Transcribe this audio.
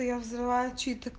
я взрываю чьи то